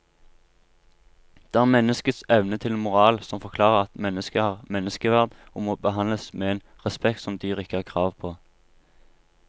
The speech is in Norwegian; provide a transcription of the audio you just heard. Det er menneskets evne til moral som forklarer at mennesket har menneskeverd og må behandles med en respekt som dyr ikke har krav på.